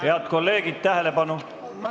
Head kolleegid, tähelepanu!